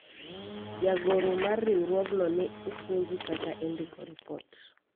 jagoro mar riwruogno ne opuonji kaka indiko ripot